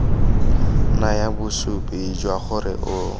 naya bosupi jwa gore o